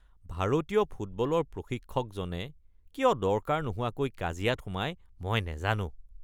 ভাৰতীয় ফুটবলৰ প্ৰশিক্ষকজনে কিয় দৰকাৰ নোহোৱাকৈ কাজিয়াত সোমায় মই নাজানো।